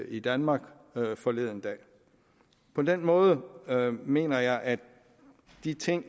i danmark forleden dag på den måde mener jeg at de ting